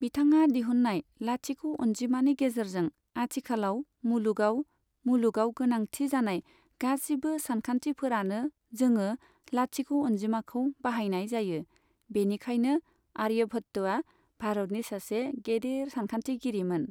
बिथाङा दिहुन्नाय लाथिख' अनजिमानि गेजेरजों आथिखालाव मुलुगाव मुलुगाव गोनांथि जानाय गासिबो सानखान्थिफोरानो जोङो लाथिख' अनजिमाखौ बाहायनाय जायो बेनिखायनो आर्यभत्त'या भारतनि सासे गेदेर सानखान्थिगिरिमोन।